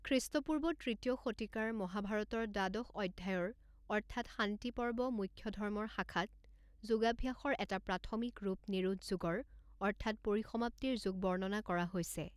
খৃষ্টপূৰ্ব তৃতীয় শতিকাৰ মহাভাৰতৰ দ্বাদশ অধ্যায়ৰ অৰ্থাৎ শান্তি পৰ্ব মোক্ষধৰ্মৰ শাখাত, যোগাভ্যাসৰ এটা প্ৰাথমিক ৰূপ নিৰোধযোগৰ অৰ্থাৎ পৰিসমাপ্তিৰ যোগ বৰ্ণনা কৰা হৈছে।